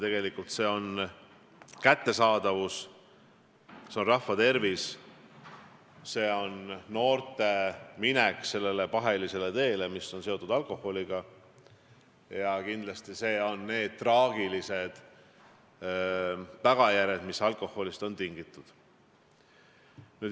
See on kättesaadavus, see on rahva tervis, see on noorte minek sellele pahelisele teele, mis on seotud alkoholiga, ja kindlasti on see need traagilised tagajärjed, mis on alkoholist tingitud.